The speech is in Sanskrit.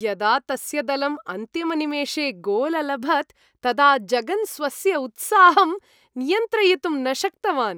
यदा तस्य दलम् अन्तिमनिमेषे गोल् अलभत्, तदा जगन् स्वस्य उत्साहम् नियन्त्रयितुं न शक्तवान्।